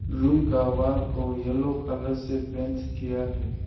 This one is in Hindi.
रूम का वॉल को येलो कलर से पेंट किया है।